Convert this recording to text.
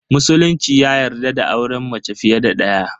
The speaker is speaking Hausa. Musulunci ya yarda da auren mace fiye da daya.